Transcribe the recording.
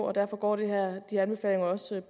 og derfor går de her anbefalinger også